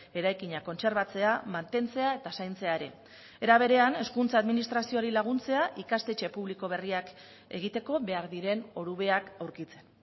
eraikina kontserbatzea mantentzea eta zaintzea ere era berean hezkuntza administrazioari laguntzea ikastetxe publiko berriak egiteko behar diren orubeak aurkitzen